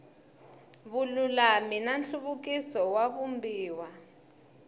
vululami na nhluvukiso wa vumbiwa